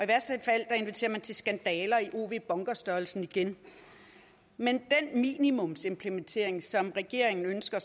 værste fald inviterer man til skandaler i ow bunker størrelsen igen med den minimumsimplementering som regeringen ønsker